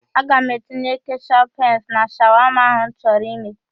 Aga m etinye keshọp henz na shawama ahụ m chọrọ ime.